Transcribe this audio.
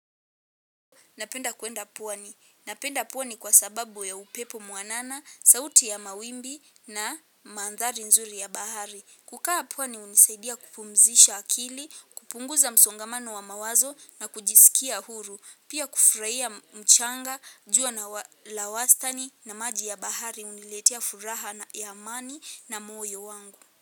Napenda kuenda pwani. Napenda puani kwa sababu ya upepo muanana, sauti ya mawimbi na mandhari nzuri ya bahari. Kukaa pwani hunisaidia kupumzisha akili, kupunguza msongamano wa mawazo na kujisikia huru. Pia kufurahia mchanga, jua la wastani na maji ya bahari huniletia furaha na ya amani na moyo wangu.